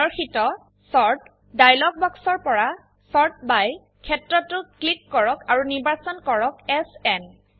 প্ৰদৰ্শিত ডায়লগ বাক্সৰ পৰা চৰ্ট -বাই ক্ষেত্ৰটো ক্লিক কৰক আৰু নিৰ্বাচন কৰক এছএন